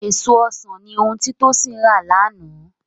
Èso ọsàn ni ohun tí Tósìn rà lánàá